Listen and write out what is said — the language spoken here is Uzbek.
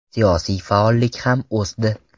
Siyosiy faollik ham o‘sdi.